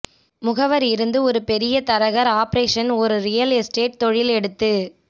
முகவர் இருந்து ஒரு பெரிய தரகர் ஆபரேஷன் ஒரு ரியல் எஸ்டேட் தொழில் எடுத்து